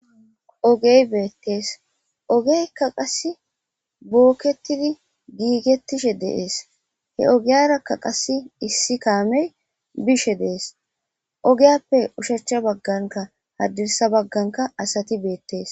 Ogey beetes ogeyka qase boketodi goigetishe dees he ogaraka qase issi kaamey bishe dees ogappe osha ha baganka hadirsa baganka asati beetetes.